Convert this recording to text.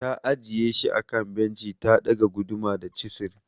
Ta ajiye shi akan benci ta ɗaga guduma da chisil.